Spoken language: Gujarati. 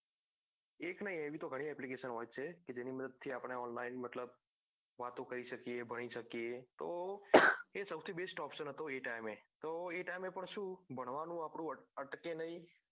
એક નઈ એવી તો ગણી application હોય છે જેની મદદ થી આપડે online મતલબ વાતો કરી શકીએ ભણી શકીએ તો એ સૌથી best option હતો એ time એ તો એ time એ પણ સુ ભણવાનું અટકે નઈ